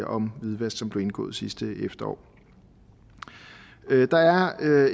om hvidvask som blev indgået sidste efterår der er